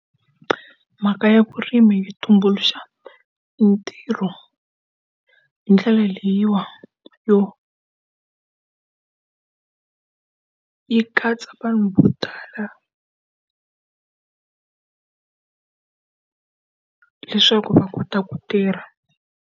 Mhaka ya vurimi ya tumbuluxa mitirho hi ndlela leyiwa yo yi katsa vanhu vo tala leswaku va kota ku tirha.